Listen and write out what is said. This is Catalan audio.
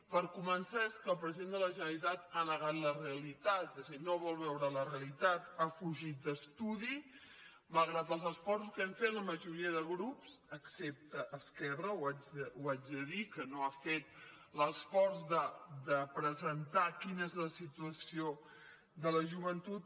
per començar és que el president de la generalitat ha negat la realitat és a dir no vol veure la realitat ha fugit d’estudi malgrat els esforços que hem fet la majoria de grups excepte esquerra ho haig de dir que no ha fet l’esforç de presentar quina és la situació de la joventut